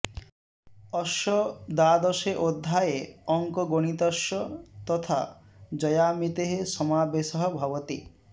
अस्य द्वादशे अध्याये अङ्कगणितस्य तथा जयामितेः समावेशः भवति